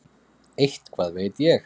Eitthvað veit ég.